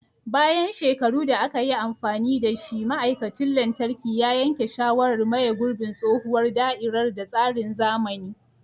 Bayan shekaru da aka yi amfani da shi, ma'aikacin lantarki ya yanke shawarar maye gurbin tsohuwar da'irar da tsarin zamani.